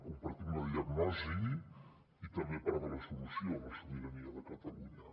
compar·tim la diagnosi i també part de la solució a la sobirania de catalunya